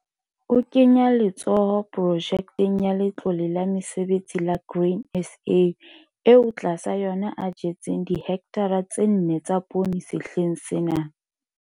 O kenya letsoho Projekeng ya Letlole la Mesebetsi la Grain SA eo tlasa yona a jetseng dihekthara tse nne tsa poone sehleng sena.